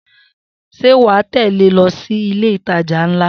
Sé wà á tẹ̀lé lọ sí ile itajà ńlá.